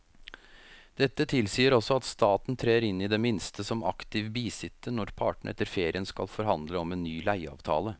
Dette tilsier også at staten trer inn i det minste som aktiv bisitter når partene etter ferien skal forhandle om en ny leieavtale.